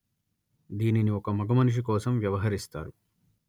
దీనిని ఒక మగమనిషి కోసం వ్యవహరిస్తారు